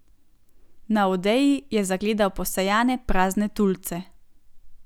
Na odeji je zagledal posejane prazne tulce.